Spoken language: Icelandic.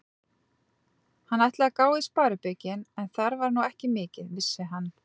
Hann ætlaði að gá í sparibaukinn, en þar var nú ekki mikið, vissi hann.